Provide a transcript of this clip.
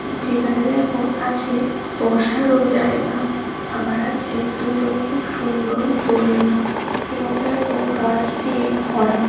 যেখানে দেখো আছে বসার ও জায়গা আবার আছে দুটো খুব সুন্দর দোলনা এবং দেখো গাছ দিয়ে ভরা।